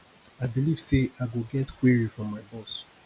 i believe say i go get query from my boss